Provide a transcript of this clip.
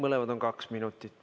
Mõlemad on kaks minutit.